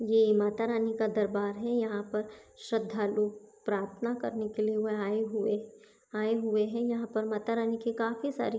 ये मातारानी का दरबार है यहां पर श्रद्धा लोग प्रार्थना करने के लिए वह आए हुए आए हुए है यहां पर मातारानी के काफी सारी --